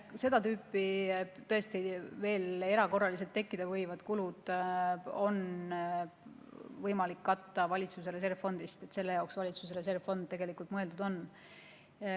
Seda tüüpi erakorraliselt tekkida võivad kulud on tõesti võimalik katta valitsuse reservfondist, selle jaoks valitsuse reservfond tegelikult mõeldud ongi.